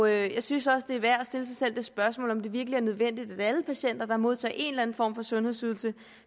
jeg synes også det er værd at stille sig selv det spørgsmål om det virkelig er nødvendigt at alle patienter der modtager en eller anden form for sundhedsydelse